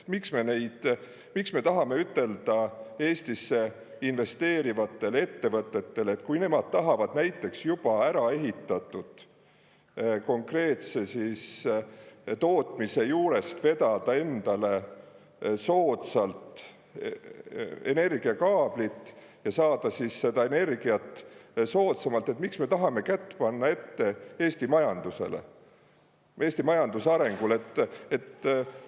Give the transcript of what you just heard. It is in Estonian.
Miks me tahame ütelda Eestisse investeerivatele ettevõtetele, et kui nemad tahavad näiteks juba ära ehitatud konkreetse tootmise juurest vedada endale soodsalt energiakaablit ja saada siis seda energiat soodsamalt, et miks me tahame kätt panna ette Eesti majandusele, Eesti majanduse arengule?